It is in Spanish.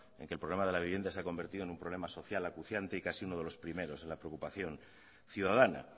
en que el problema de la vivienda se ha convertido en un problema social acuciante y casi uno de los primeros en la preocupación ciudadana